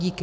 Díky.